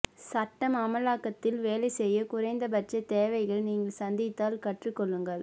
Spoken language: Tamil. சட்டம் அமலாக்கத்தில் வேலை செய்ய குறைந்தபட்ச தேவைகள் நீங்கள் சந்தித்தால் கற்றுக்கொள்ளுங்கள்